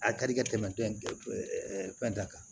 A ka di ka tɛmɛ fɛn ta kan